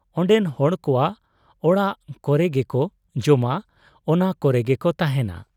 ᱚᱱᱰᱮᱱ ᱦᱚᱲ ᱠᱚᱣᱟᱜ ᱚᱲᱟᱜ ᱠᱚᱨᱮᱜᱮᱠᱚ ᱡᱚᱢᱟ, ᱚᱱᱟ ᱠᱚᱨᱮᱜᱮᱠᱚ ᱛᱟᱦᱮᱸᱱᱟ ᱾